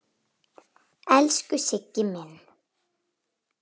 Elsku Siggi minn.